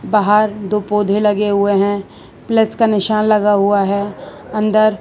बाहर दो पौधे लगे हुए हैं प्लस का निशान लगा हुआ है अंदर--